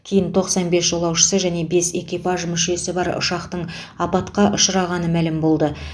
кейін тоқсан бес жолаушысы және бес экипаж мүшесі бар ұшақтың апатқа ұшырағаны мәлім болды